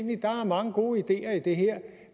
der er mange gode ideer i det her